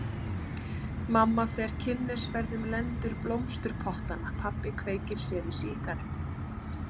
Mamma fer kynnisferð um lendur blómsturpottanna, pabbi kveikir sér í sígarettu.